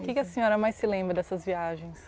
O que que a senhora mais se lembra dessas viagens?